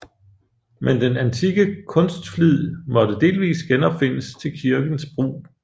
Men den antikke kunstflid måtte delvis genopfindes til kirkens brug